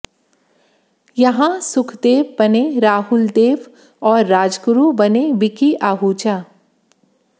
यहां सुखदेव बने राहुल देव और राजगुरु बने विकी आहूजा